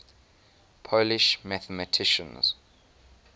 polish mathematicians